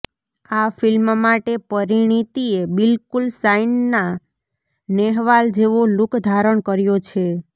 આ ફિલ્મ માટે પરિણીતીએ બિલકુલ સાઇના નેહવાલ જેવો લુક ધારણ કર્યો છે